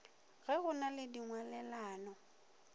ge go na le dingwalelano